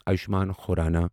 Ayushman Khurrana